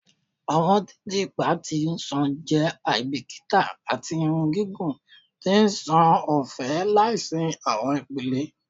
Awọn titiipa ti nṣàn jẹ aibikita ati irun gigun ti nṣan ọfẹ laisi awọn ipele